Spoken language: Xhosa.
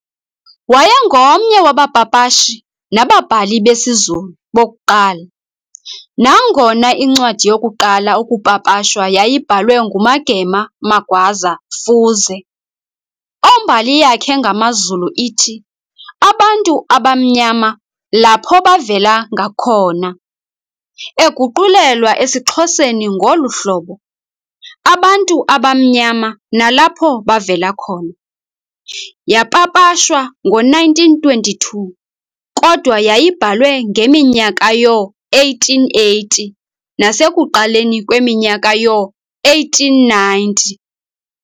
Wayengomnye wabapapashi nababhali besiZulu bokuqala, nangona incwadi yokuqala ukupapashwa yayibhalwe nguMagema Magwaza Fuze, ombali yakhe ngamaZulu ithi, "Abantu abamnyama lapo bavela ngakona", eguqulelwa esiXhoseni ngolu hlobo,"Abantu abamnyama nalapho bavela khona", yapapashwa ngo-1922, kodwa yayibhalwe ngeminyaka yoo-1880 nasekuqaleni kweminyaka yoo-1890s.